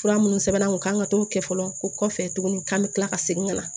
Fura minnu sɛbɛnna u kan ka t'o kɛ fɔlɔ o kɔfɛ tuguni k'an bɛ tila ka segin ka na